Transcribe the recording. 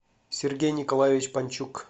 сергей николаевич панчук